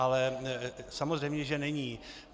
Ale samozřejmě že není.